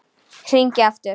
Hringi aftur!